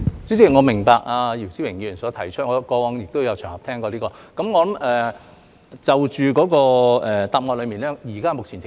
主席，我明白姚思榮議員所提出的問題，我過往也曾在其他場合聽過。